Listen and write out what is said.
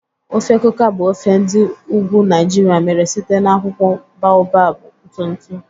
Ofe Kuka bụ ofe ndi ugwu Naijiria mere site na akwụkwọ baobab ntụ ntụ.